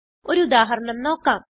ഒരു ഉദാഹരണം നോക്കാം